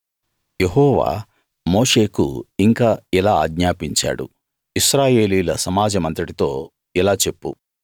యెహోవా మోషేకు ఇంకా ఇలా ఆజ్ఞాపించాడు ఇశ్రాయేలీయుల సమాజమంతటితో ఇలా చెప్పు